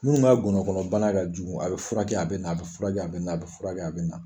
Minnu ka gɔnɔbana ka jugu, a bɛ furakɛ, a bɛ na ,a bɛ furakɛ a bɛ na ,a bɛ furakɛ a bɛ na.